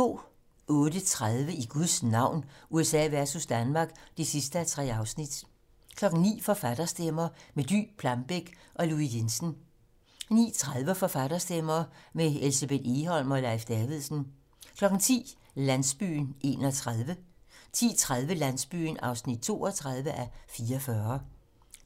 08:30: I Guds navn - USA versus Danmark (3:3) 09:00: Forfatterstemmer - med Dy Plambeck og Louis Jensen 09:30: Forfatterstemmer - med Elsebeth Egholm og Leif Davidsen 10:00: Landsbyen (31:44) 10:30: Landsbyen (32:44)